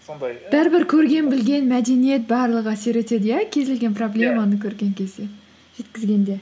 сондай бәрібір көрген білген мәдениет барлығы әсер етеді иә кез келген проблеманы көрген кезде жеткізгенде